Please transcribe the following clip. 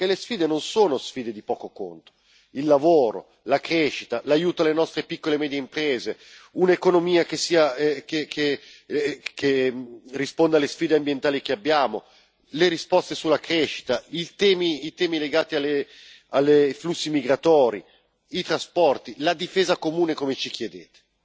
E non sono sfide di poco conto il lavoro, la crescita, l'aiuto alle nostre piccole e medie imprese, un'economia che risponda alle sfide ambientali che abbiamo, le risposte sulla crescita, i temi legati ai flussi migratori, i trasporti, la difesa comune, come ci chiedete.